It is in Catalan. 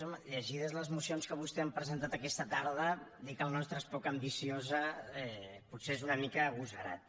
home llegides les mocions que vostès han presentat aquesta tarda dir que la nostra és poc ambiciosa potser és una mica agosarat